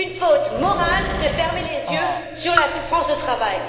C'est une faute morale de fermer les yeux sur la souffrance au travail.